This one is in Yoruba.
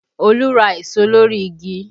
Olú ra èso lórí igi